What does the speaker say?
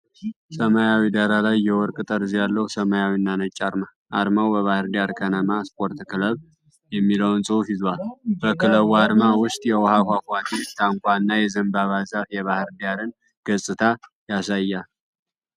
ሰማያዊ ዳራ ላይ የወርቅ ጠርዝ ያለው ሰማያዊና ነጭ አርማ። አርማው "በባህር ዳር ቀነማ ስፖርት ክለብ" የሚለውን ጽሑፍ ይዟል ።። በክለቡ አርማ ውስጥ የውሃ ፏፏቴ፣ ታንኳ እና የዘንባባ ዛፍ የባህር ዳርን ገፅታ ያሳያል።